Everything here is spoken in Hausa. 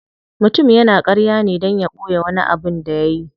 Mutum yana karya ne dan ya boye wani abin da yayi.